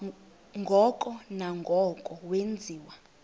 ngoko nangoko wenziwa